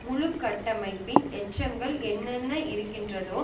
முழுகட்டமைப்பின் எச்சங்கள் என்னென்ன இருக்கின்றதோ